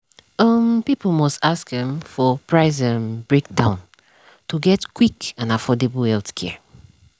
um people must ask um for price um breakdown to get quick and affordable healthcare.